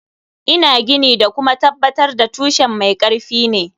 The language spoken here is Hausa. Ina gini da kuma tabbatar da tushen mai karfi ne.